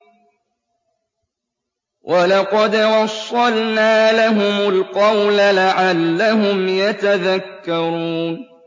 ۞ وَلَقَدْ وَصَّلْنَا لَهُمُ الْقَوْلَ لَعَلَّهُمْ يَتَذَكَّرُونَ